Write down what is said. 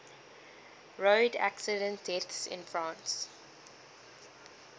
road accident deaths in france